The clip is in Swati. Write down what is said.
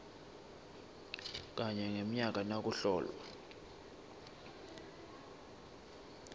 kanye ngemnyaka nakuhlolwa